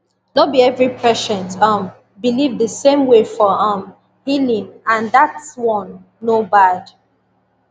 no be every patient um believe the same way for um healing and that one no bad